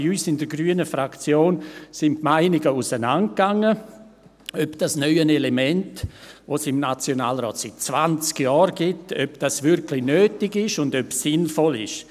Bei uns in der grünen Fraktion gingen die Meinungen darüber auseinander, ob dieses neue Element, das es im Nationalrat seit zwanzig Jahren gibt, wirklich nötig ist und ob es sinnvoll ist.